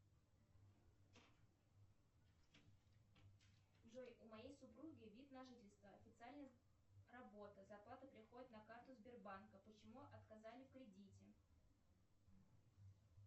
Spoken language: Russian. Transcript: джой у моей супруги вид на жительство официальная работа зарплата приходит на карту сбербанка почему отказали в кредите